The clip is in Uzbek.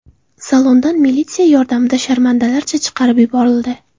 Salondan militsiya yordamida sharmandalarcha chiqarib yuborildi.